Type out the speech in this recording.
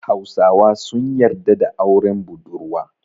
Hausawa sun yarda da auren budurwa.